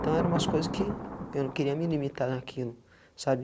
Então, eram umas coisas que eu não queria me limitar naquilo, sabe?